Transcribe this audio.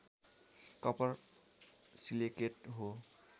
copper silicate हो